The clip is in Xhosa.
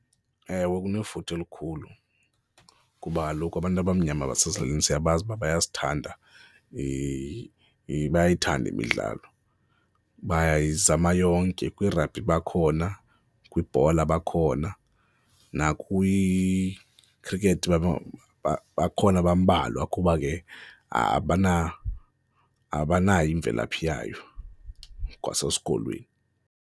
Ewe, kunefuthe elikhulu kuba kaloku abantu abamnyama basezilalini siyabazi uba bayasithanda bayayithanda imidlalo. Bayizama yonke, kwirabhi bakhona, kwibhola bakhona nakwikhrikhethi bakhona bambalwa kuba ke abanayo imvelaphi yayo kwasesikolweni.